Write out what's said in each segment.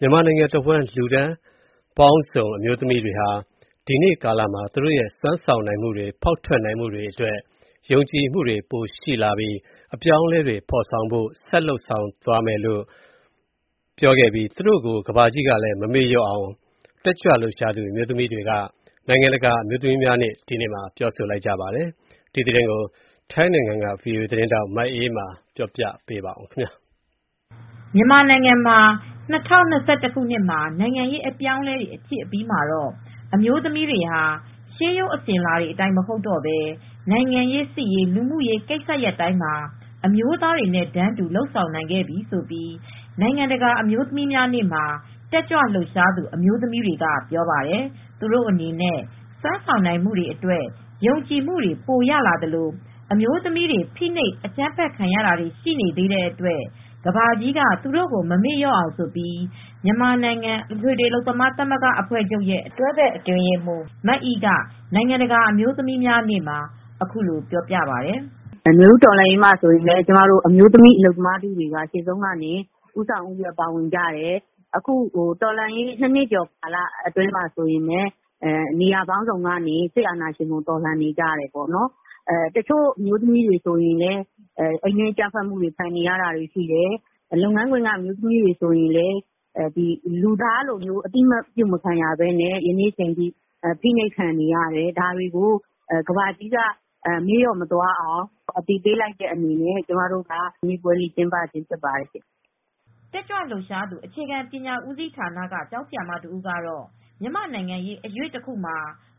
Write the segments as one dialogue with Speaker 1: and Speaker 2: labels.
Speaker 1: မြန်မာနိုင်ငံတဝှမ်းလူတန်းပေါင်းစုံအမျိုးသမီးတွေဟာ ဒီကနေ့ကာလမှာ သူတို့ရဲ့စွမ်းဆောင်နိုင်မူတွေ ဖောက်ထွက်နိုင်မူတွေအတွက် ယုံကြည်မူတွေပိုရှိလာပြီး အပြောင်းအလဲတွေဖော်ဆောင်ဖို့ဆက်လုပ်ဆောင်သွားမယ့်အကြောင်းနဲ့သူတို့ကို ကမ်ဘာကြီးက မမေ့လျော့အောင်ဖို့အတွက် တက်ကြွလှုပ်ရှားသူ အမျိုးသမီးတွေက နိုင်ငံတကာအမျိုးသမီးများနေ့မှာ ပြောဆိုကြပါတယ်။ ဒီသတင်းကိုဗွီအိုအေသတင်းထောက်မအေးအေးမာသတင်းပေးပို့ထားပါတယ်။ မြန်မာနိုင်ငံမှာ ၂၀၂၁ခုနှစ်နိုင်ငံရေးအပြောင်းအလဲဖြစ်အပြီးမှာတော့ အမျိုးသမီးတွေဟာရှေးရိုအစဉ်အလာအတိုင်းမဟုတ်တော့ပဲ နိုင်ငံရေးစစ်ရေး လူမူရေးကိစ္စရပ်တိုင်းမှာ အမျိုးသားတွေနဲ့တန်းတူ လုပ်ဆောင်နိုင်ခဲ့ပြီလို နိုင်ငံတကာအမျိုးသမီးများနေ့မှာ တက်ကြလှုပ်ရှားသူအမျိုးသမီးတွေကပြောပါတယ်။ သူတို့ အနေနဲ့ စွမ်းဆောင်နိုင်မူတွေ အတွက်ယုံကြည်မူတွေပိုရလာသလို အမျိုးသမီးတွေ ဖိနှိပ်အကြမ်းဖက်ခံနေရတာရှိနေသေးတဲ့အတွက် ကမ်ဘာကြီးက သူတို့ကိုမမေ့လျော့အောင်ဆိုပြီး မြန်မာနိုင်ငံ အထွေထွေအလုပ်သမားသမဂများအဖွဲ့ချုပ် FGWMရဲ့ တွဲဘက်အတွင်းရေးမှူး မအိက နိုင်ငံတကာအမျိုးသမီးများနေ့မှာ အခုလိုပြောပါတယ်။ "နွေဦးတော်လှန်ရေးမှာလည်းကျမတို့အလုပ်သမားအမျိုးသမီးထုဟာရှေ့ဆုံးကနေ ဦးဆောင်ဦးရွက်ပါဝင်ကြတယ်၊အခုတော်လှန်ရေး၂နှစ်ကျော်ကြာကာလအတွင်းမှာလည်းနေရာပေါင်းစုံကနေ စစ်အာဏာရှင်ကိုတော်လှန်နေကြတယ်၊တချို့အမျိုးသမီးတွေလည်းအိမ်တွင်းအကြမ်းဖက်ခံနေရတယ် တချို့လုပ်ငန်းခွင်ကအမျိုးသမီးတွေဆိုရင်လည်း လူသားလိုအသိမှတ်ပြုမခံရပဲ ဖိနှိပ်ခံနေရတယ်။ ဒါကိုကမ္ဘာကြီးက မမေ့လျော့အောင် ဒီနေ့ပွဲလေးကျင်းပခဲ့တာဖြစ်ပါတယ်။" တက်ကြွလှုပ်ရှားသူ အခြေခံပညာဦးစီးဌာနက ကျောင်းဆရာမတဦးကတော့ မြန်မာနိုင်ငံရေးအရွေ့တခုမှာ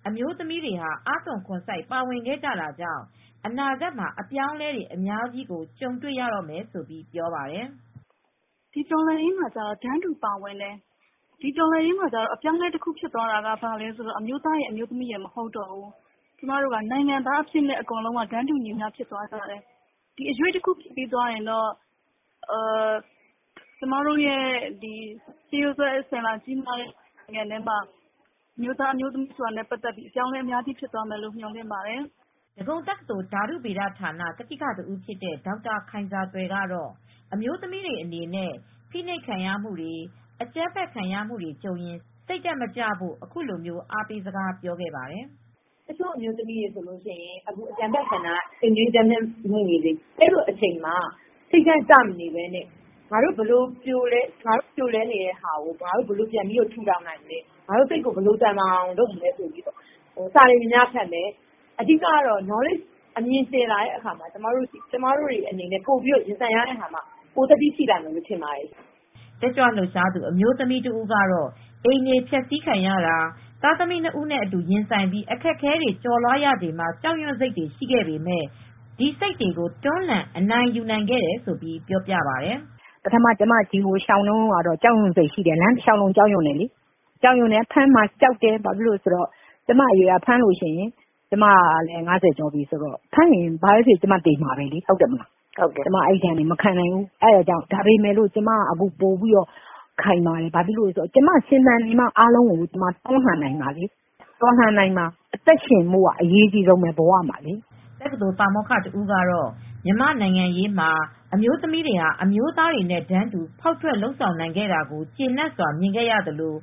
Speaker 1: အမျိုးသမီးတွေအားသွန်ခွန်စိုက်ပါဝင်ခဲ့ကြတာကြောင့် အနာဂတ်မှာ အပြောင်းအလဲတွေအများကြီးကိုကြုံတွေ့ရတော့မယ်လို့ဆိုပါတယ်။ "တော်လှန်ရေးမှာကျတော့တန်းတူပါဝင်ကြတယ်။ တော်လှန်ရေးမှာကျတော့အပြောင်းအလဲဖြစ်သွားတာကတော့ အမျိုးသားရယ်အမျိုးသမီးရယ်မဟုတ်ဘူး။ နိုင်ငံသားအဖြစ်နဲ့တန်းတူညီမျှ ဖြစ်သွားကြတယ်။ ဒီအရွေ့တခုဖြစ်ပြီးသွားရင်တော့ ကျွန်မတို့ရဲ့ရှေးရိုးစွဲအစဉ်လာကြီးတွေ ဖြစ်နေတဲ့နိုင်ငံမှာ အမျိုးသမီးအမျိုးသားဆိုတာတွေကအပြောင်းအလဲတွေအများကြီးဖြစ်သွားလိမ့်မယ်" ဒဂုံတကသိုလ်ဓါတုဗေဒဌာန ကတိကတဦးဖြစ်တဲ့ဒေါက်တာခိုင်ဇာသွယ်ကတော့ အမျိုးသမီးတွေအနေနဲ့ ဖိနှိပ်ခံရမှုတွေအကြမ်းဖက်ခံရမူတွေကြုံရင် စိတ်ဓါတ်မကျဖို့ အခုလိုအားပေးစကားပြောခဲ့ပါတယ်။ "တချို့အမျိုးသမီးတွေဆိုရင်အကြမ်းဖက်ခံရမူတွေကြံရတဲ့အခါမှာ စိတ်ဓါတ်ကျမနေပဲ ငါတို့ ပြိုလဲနေတာကို ဘယ်လို ထူထောင်နိုင်မလဲ ဘယ်လိုသန်မာအာင်လုပ်ကြမလဲဆိုပြီးစာတွေများများဖတ်ရမယ် အဓိကကတော့အမြင်ကျယ်လာရင်တော့ကျွန်မတို့ရင်ဆိုင်တဲ့အခါမှာပိုပြီးသတ္တိရှိလာမယ်လို့ထင်တယ်" တက်ကြွလှုပ်ရှားသူအမျိုးသမီးတဦးကတော့ အိမ်တွေ ဖျက်ဆီးခံရတာ သားသမီး၂ဦးနဲ့အတူရင်ဆိုင်ပြီးအခက်အခဲကျော်လွားခဲ့ရချိန် ကြောက်ရွံ့စိတ်တွေရှိခဲ့ပေမယ့် ဒီစိတ်တွေကိုတွန်းလှန်အနိုင်ယူနိုင်ခဲ့တယ်လို့ ပြောပြပါတယ်။ "ပထမဒီကရှောင်လာတုန်းက ကြောက်ရွံ့စိတ်ရှိတယ် ၊လမ်းတလျောက်လုံးကြောက်တယ် ဖမ်းမှာကြောက်တယ် ကျွန်မအရွယ်က အသက်၅၀ကျော်ဆိုရင် ဖမ်းရင်သေမှာပဲ ဒီဒဏ်တွေမခံနိုင်တော့ဘူး ကျွန်မက အခုတော့ပိုခိုင်မာလာတယ်။ ကျွန်မအသက်ရှင်နေဖို့လိုတယ်။ ကျွန်မရှင်သန်နေမှာအားလုံးကိုတွန်းလှန်နိုင်မှာ တော်လှန်နိုင်မှာလေ ကျွန်မရှင်သန်နေမှာအားလုံးလုပ်နိုင်မှာ" တက္ကသိုလ်ပါမောက္ခတဦးကတော့ မြန်မာ့နိုင်ငံရေးမှာအမျိုးသမီးတွေဟာအမျိုးသားတွေနဲ့တန်းတူ ဖောက်ထွက်လုပ်ဆောင်နိုင်ခဲ့တာကို ကျေနပ်စွာမြင်ခဲ့ရသလို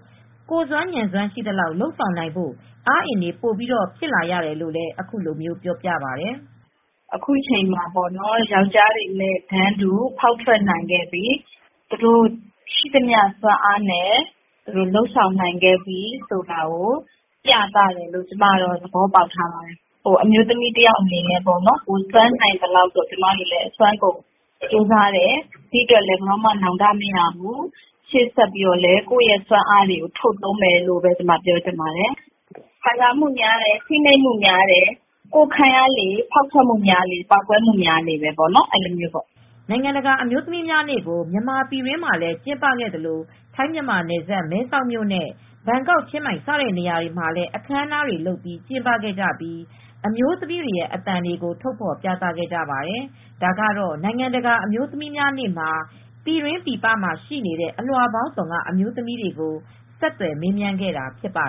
Speaker 1: ကိုယ်စွမ်းဉာဏ်စွမ်းရှိသလောက်လုပ်ဆောင်နိုင်ဖို့ အားအင်တွေပိုပြီးတော့ဖြစ်လာတယ်လို့အခုလိုပြောခဲ့ပါတယ်။ "ယောက်ကျားတွေနဲ့တန်းတူဖောက်ထွက်နိုင်ခဲ့ပြီသူတို့ ရှိသမျှစွမ်းအားနဲ့လုပ်ဆောင်နိုင်ခဲ့ပြီဆိုတာကို ပြသတယ်လို့သဘောပေါက်ထားပါတယ်။ အမျိုးသမီးတယောက်အနေနဲ့လည်း စွမ်းဆောင်နိုင်သလောက်စွမ်းဆောင်ခဲ့ကြိုးစားခဲ့တယ်။ ဒီအတွက်ဘယ်တော့မှာနောင်တမရဘူး၊ ရှေ့ဆက်ပြီးကျွန်မတို့ကကိုယ့်စွမ်းအားတွေကိုထုတ်သုံးမယ်လို့ပြောချင်တယ်၊ အမျိုးသမီးတွေကခံစားမှုများတယ် ဖိနှိပ်မှုများလေ ကိုယ့်ခံရတာများလေ ဖောက်ထွက်မှုများလေပါပဲ" နိုင်ငံတကာအမျိုးသမီးများနေ့ကို မြန်မာပြည်တွင်းမှာလည်းကျင်းပခဲ့သလို ထိုင်းမြန်မာနယ်စပ်မဲဆောက်နဲ့ ဘန်ကောက်ချင်းမိုင်စတဲ့နေရာတွေမှာလည်းအခမ်းအနားတွေလုပ်ပြီးကျင်းပခဲ့ကြပြီးအမျိုးသမီးတွေ အသံတွေကိုထုတ်ဖော်ပြသခဲ့ကြပါတယ်။ ဒါကတော့နိုင်ငံတကာအမျိုးများနေ့မှာ ပြည်တွင်းပြည်ပမှာရှိနေတဲ့ အလွှာပေါင်းစုံကအမျိုးသမီးတွေကိုဆက်သွယ်မေးမြန်းခဲ့တာဖြစ်ပါ